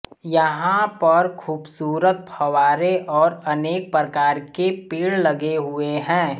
यहां पर खूबसूरत फव्वारे और अनेक प्रकार के पेड़ लगे हुए हैं